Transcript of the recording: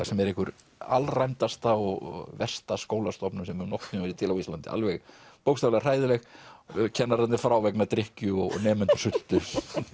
sem er einhver alræmdasta og versta skólastofnun sem hefur nokkurn tímann verið til á Íslandi alveg bókstaflega hræðileg kennararnir frá vegna drykkju og nemendur sultu